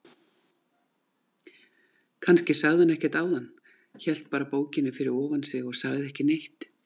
Kannski sagði hann ekkert áðan, hélt bara bókinni fyrir ofan sig og sagði ekki neitt.